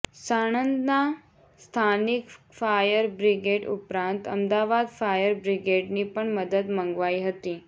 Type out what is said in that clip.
સાણંદના સ્થાનિક fire brigade ઉપરાંત Ahmedabad fire બ્રિગેડની પણ મદદ મંગાવાઈ હતી